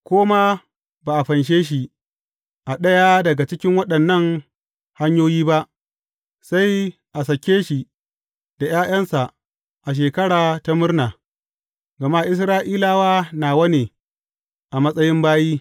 Ko ma ba a fanshe shi a ɗaya daga cikin waɗannan hanyoyi ba, sai a sake shi da ’ya’yansa a Shekara ta Murna, gama Isra’ilawa nawa ne a matsayin bayi.